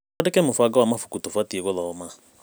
Tũandĩke mũbango wa mabuku tũbatiĩ gũthoma.